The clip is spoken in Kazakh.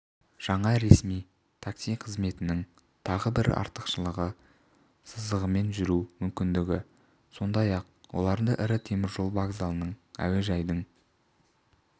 жаңа ресми такси қызметінің тағы бір артықшылығы сызығымен жүру мүмкіндігі сондай-ақ оларға ірі теміржол вокзалының әуежайдың